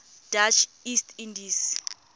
dutch east indies